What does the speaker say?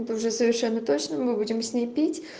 это уже совершенно точно мы будем с ней пить